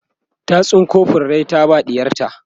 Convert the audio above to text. ta tsinko furrai ta ba ɗiyarta